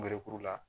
Melekuru la